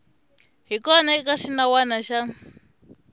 hi kona eka xinawana xa